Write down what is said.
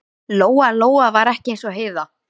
Lóa Lóa var ekki eins og Heiða